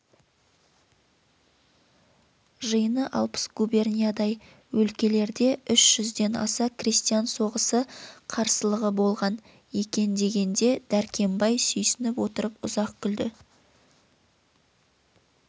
жиыны алпыс губерниядай өлкелерде үш жүзден аса крестьян соғысы қарсылығы болған екен дегенде дәркембай сүйсініп отырып ұзақ күлді